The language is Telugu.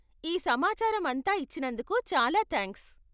ఈ సమాచారం అంతా ఇచ్చినందుకు చాలా థాంక్స్.